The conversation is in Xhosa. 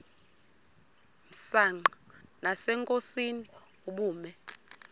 msanqa nasenkosini ubume